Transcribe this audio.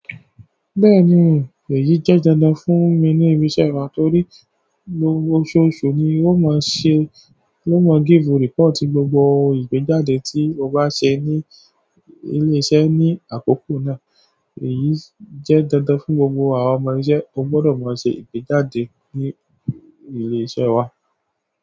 Bẹ́ẹ̀ni, èyí jẹ́ dandan fún mi ní ilé-iṣẹ́ wa torí oṣoosu ni ó máa ń ṣe, ló máa give report gbogbo ìgbéjáde tí o bá ṣe ní ilé-iṣẹ́ ní àkókò náà. Èyí jẹ́ dandan fún gbogbo àwọn ọmọ ilé-iṣẹ́, o gbọ́dọ̀ máa ṣe ìgbéjáde ní ilé-iṣẹ́ wa.